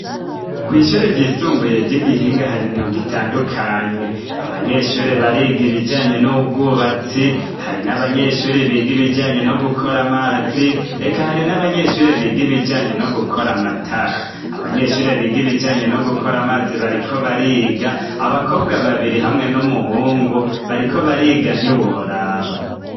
Kw'ishure ryisumbuye ry'igihinga hari imyuga itandukanye. Abanyeshure bariga ibijanye n'ubwubatsi hari n'abanyeshure biga ibijyanye no gukora amazi reka hari n'abanyeshure biga ibijanye no gukora amatara. Abanyeshure biga ibijyanye no gukora amazi bariko bariga abakobwa babiri hamwe n'umuhungu bariko bariga ntiworaba.